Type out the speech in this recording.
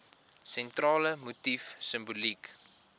sentrale motief simboliek